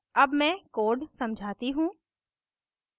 अब मैं code समझाती हूँ